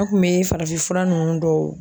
An kun be farafinfura nunnu dɔw